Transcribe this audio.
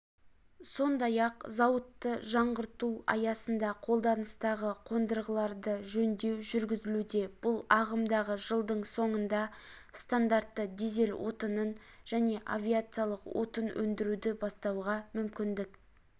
сондай-ақ зауытты жаңғырту аясында қолданыстағы қондырғыларды жөндеу жүргізілуде бұл ағымдағы жылдың соңында стандартты дизель отынын және авиациялық отын өндіруді бастауға мүмкіндік